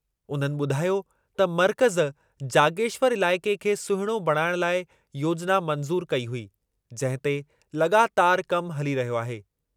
उन्हनि ॿुधायो त मर्कज़ु जागेश्वर इलाइक़े खे सुहिणो बणाइण लाइ योजिना मंज़ूर कई हुई, जंहिं ते लॻातारि कमु हली रहियो आहे।